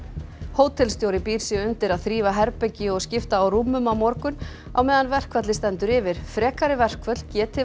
hótelstjóri býr sig undir að þrífa herbergi og skipta á rúmum á morgun á meðan verkfallið stendur yfir frekari verkföll geti